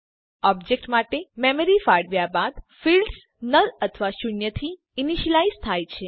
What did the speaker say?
object માટે memory ફાળવ્યા બાદ ફિલ્ડ્સ નલ અથવા શૂન્ય થી ઈનીશ્યલાઈઝ થાય છે